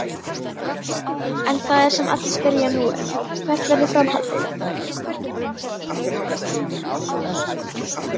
En það sem allir spyrja nú um: Hvert verður framhaldið?